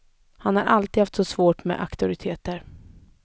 Han har alltid haft svårt med auktoriteter.